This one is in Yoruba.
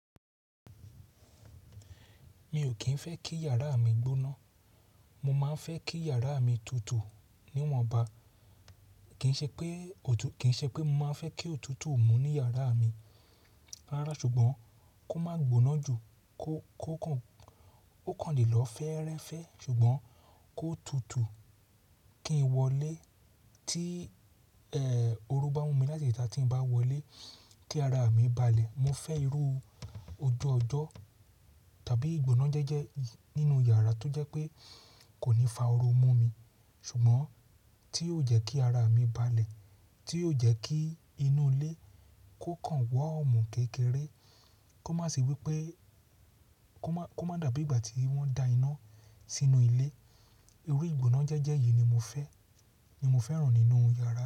Mi ò kín fẹ́ kí yàrá mi gbóná, mo máa ń fẹ́ kí yàrá mi tutù níwọ̀nba. Kì í ṣe pé mo máa fẹ́ kí òtútù mú ní yàrá mi lára ṣùgbọ́n kó má gbóná ju kó kàn lè lọ fẹ́rẹ́fẹ́ ṣùgbọ́n kó tutù kí n wọlé tí ẹ oró bá mú mi láti ìta tí n bá wọlé kí ara mi balẹ̀. Mo fẹ́ irú ojú ọjọ́ tàbí ìgbóná jẹ́jẹ́ nínú yàrá tó jẹ́ pé kò ní fa oró mú mi ṣùgbọ́n tí yóò jẹ́ kí ara mi balẹ̀, tí yóò jẹ́ kí inú ilé kó kàn warm kékeré, kó má sì wí pé kó má dàbí ìgbà tí wọ́n da iná sínú ilé. Irú ìgbóná jẹ́jẹ́ yìí ni mo fẹ́, ni mo fẹ́ràn nínú yàrá mi.